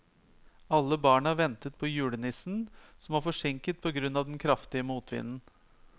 Alle barna ventet på julenissen, som var forsinket på grunn av den kraftige motvinden.